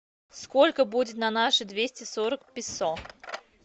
сколько будет на наши двести сорок песо